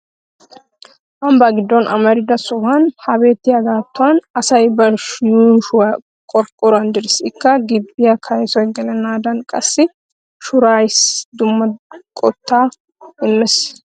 Ambbaa giddon amarida sohuwan ha beettiyaagaattuwan asay ba yuushuwan qorqqoruwan direes. Ikka gibbiya kaysoy gelennaaadaaninne qassi shuuriyaasi dumma qottaa immes.